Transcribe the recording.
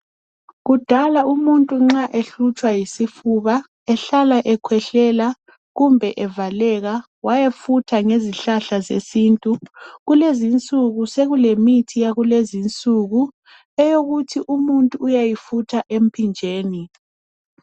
Kudala umuntu nxa ehlutshwa yisifuba ehlala ekwehlela kumbe evaleka wayefutha ngezihlahla zesintu kulezinsuku sekulemithi yakulezinsuku eyokuthi umuntu uyayifutha emphinjeni